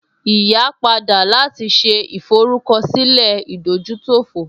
Ìyá padà láti ṣe ìforúkọsílẹ̀ ìdójútòfò